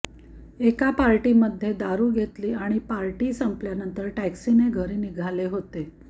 एका पार्टीमध्ये दारू घेतली आणि पार्टी संपल्यानंतर टॅक्सीने घरी निघाले होते